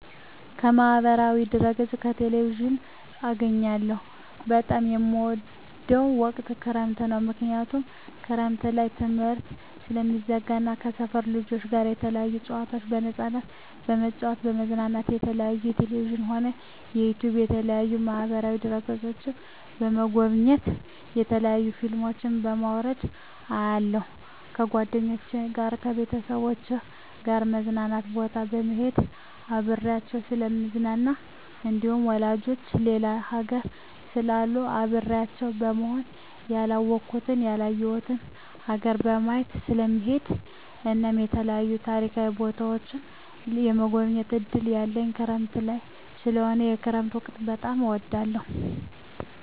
ከማህበራዊ ድህረገፅ ከቴሌቪዥን አገኛለሁ በጣም የምወደዉ ወቅት ክረምት ነዉ ምክንያቱም ክረምት ላይ ትምህርት ስለሚዘጋ እና ከሰፈር ልጆች ጋር የተለያዩ ጨዋታዎችን በነፃነት በመጫወት በመዝናናት የተለያዩ በቴሌቪዥንም ሆነ በዩቱዩብ በተለያዩ ማህበራዋ ድህረ ገፆችን በመጎብኘት የተለያዩ ፊልሞችን በማዉረድ አያለሁ ከጓደኞቸ ጋር ከቤተሰቦቸ ጋር መዝናኛ ቦታ በመሄድና አብሬያቸዉ ስለምዝናና እንዲሁም ዘመዶቸ ሌላ ሀገር ስላሉ አብሬያቸው ለመሆንና ያላወኩትን ያላየሁትን ሀገር ለማየት ስለምሄድ እናም የተለያዩ ታሪካዊ ቦታዎችን የመጎብኘት እድል ያለኝ ክረምት ላይ ስለሆነ የክረምት ወቅት በጣም እወዳለሁ